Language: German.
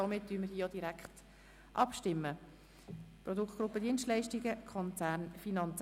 Somit stimmen wir direkt ab über den Nachkredit «Produktgruppe Dienstleistungen Konzernfinanzen».